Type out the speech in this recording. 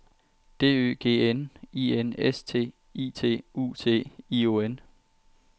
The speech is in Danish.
D Ø G N I N S T I T U T I O N